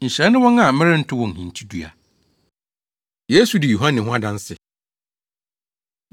Nhyira ne wɔn a merento wɔn hintidua.” Yesu Di Yohane Ho Adanse